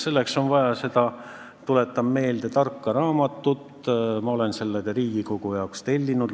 Tuletan meelde, et selleks on vaja seda tarka raamatut, mille ma olen Riigikogu jaoks tellinud.